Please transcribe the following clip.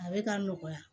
A bɛ ka nɔgɔya